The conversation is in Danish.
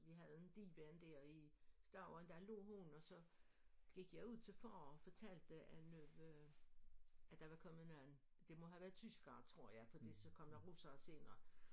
vi havde en divan der i stuen der lå hun og så gik jeg ud til far og fortalte at nu at der var kommet nogen det må have været tyskere tror jeg fordi så kom der russere senere